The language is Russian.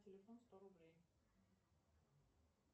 телефон сто рублей